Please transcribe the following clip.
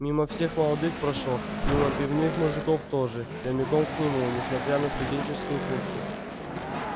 мимо всех молодых прошёл мимо пивных мужиков тоже прямиком к нему несмотря на студенческую куртку